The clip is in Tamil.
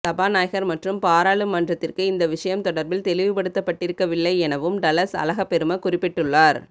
சபாநாயகர் மற்றும் பாராளுமன்றத்திற்கு இந்த விடயம் தொடர்பில் தெளிவுபடுத்தப்பட்டிருக்கவில்லை எனவும் டலஸ் அழகப்பெரும குறிப்பிட்டுள்ளார்